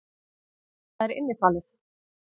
Hvað er innifalið?